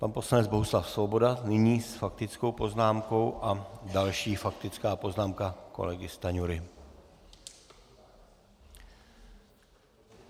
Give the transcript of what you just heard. Pan poslanec Bohuslav Svoboda nyní s faktickou poznámkou a další faktická poznámka kolegy Stanjury.